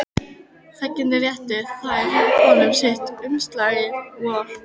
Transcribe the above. Þegjandi réttu þeir honum sitt umslagið hvor.